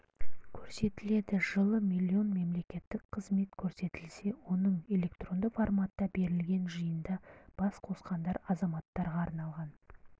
көрсетіледі жылы млн мемлекеттік қызмет көрсетілсе оның электронды форматта берілген жиында бас қосқандар азаматтарға арналған